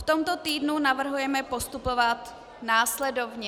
V tomto týdnu navrhujeme postupovat následovně.